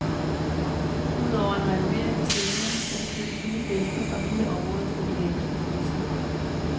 Udover en renovering af scenen skal der købes nye bænke og hele området skal belægges med fliser.